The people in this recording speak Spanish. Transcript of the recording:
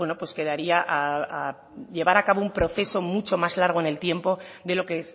a llevar a cabo un proceso mucho más largo en el tiempo de lo que